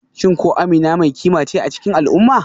Shin ko Amina mai kima ce a cikin al'umma?